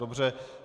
Dobře.